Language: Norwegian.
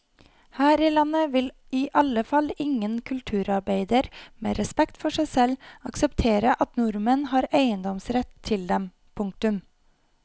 Her i landet vil i alle fall ingen kulturarbeider med respekt for seg selv akseptere at nordmenn har eiendomsrett til dem. punktum